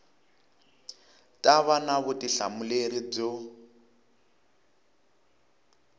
ta va na vutihlamuleri byo